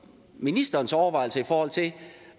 ministerens overvejelser i forhold til